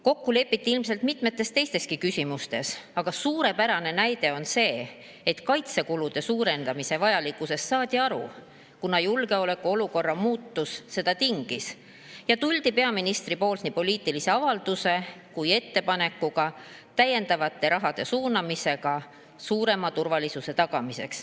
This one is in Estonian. Kokku lepiti ilmselt mitmetes teisteski küsimustes, aga suurepärane näide on see, et kaitsekulude suurendamise vajalikkusest saadi aru, kuna julgeolekuolukorra muutus seda tingis, ja peaminister tuli nii poliitilise avaldusega kui ka ettepanekuga täiendavate rahade suunamiseks turvalisuse tagamisse.